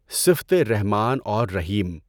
صفت رحمٰن اور رحیم۔